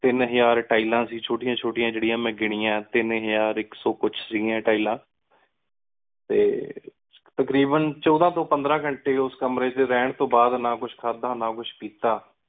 ਤੀਨ ਹਜ਼ਾਰ ਟਾਈਲਾਂ ਸੀ ਛੋਟੀਆਂ ਛੋਟੀਆਂ ਜੇੜੀਯਾਂ ਮੈ ਗਿਨਿਯਾ ਤੀਨ ਹਜ਼ਾਰ ਇਕ ਸੋ ਕੁਝ ਸੀ ਗਿਆ ਟਾਈਲਾਂ ਟੀ ਤਕ਼ਰੀਬਨ ਛੋਡਾ ਤੋ ਪੰਦ੍ਰ ਘੰਟਾ ਉਸ ਕਮਰੇ ਏਚ ਰੇਹਾਨ ਤੋ ਬਾਦ ਨਾ ਕੁਝਖਾਦਾ ਨਾ ਕੁਝ ਪੀਤਾ